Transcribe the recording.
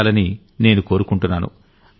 నేర్పించాలని నేను కోరుకుంటున్నాను